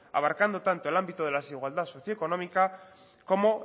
abarcando tanto el ámbito de la desigualdad socio económica como